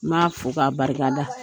N m'a fo k'a barikada.